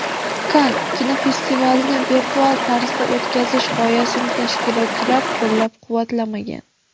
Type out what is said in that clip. Kann kinofestivalini virtual tarzda o‘tkazish g‘oyasini tashkilotchilar qo‘llab-quvvatlamagan.